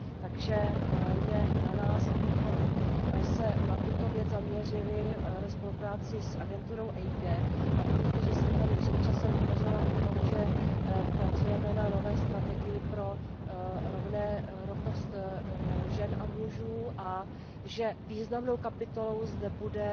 Takže je na nás, abychom se na tuto věc zaměřili ve spolupráci s agenturou EIGE, a vy víte, že jsem tady před časem hovořila o tom, že pracujeme na nové strategii pro rovnost žen a mužů a že významnou kapitolou zde bude